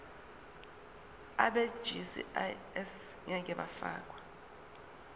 abegcis ngeke bafakwa